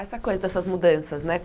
Essa coisa dessas mudanças, né?